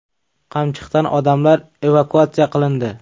Qamchiqdan odamlar evakuatsiya qilindi.